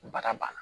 Bada ba na